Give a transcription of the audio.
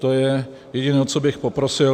To je jediné, o co bych poprosil.